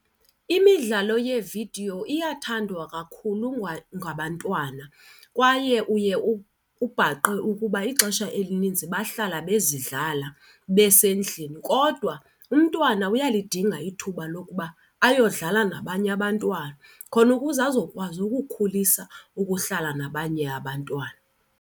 Imidlalo yeevidiyo iyathandwa kakhulu ngabantwana kwaye uye ubhaqe ukuba ixesha elininzi bahlala bezidlala besendlini. Kodwa umntwana uyalidinga ithuba lokuba ayodlala nabanye abantwana khona ukuze azokwazi ukukhulisa ukuhlala nabanye abantwana.